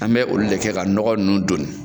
An bɛ olu de kɛ ka nɔgɔ nunnu doni